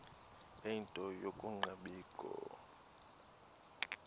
ie nto yokungabikho